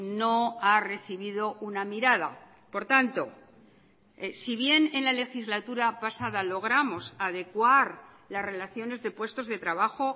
no ha recibido una mirada por tanto si bien en la legislatura pasada logramos adecuar las relaciones de puestos de trabajo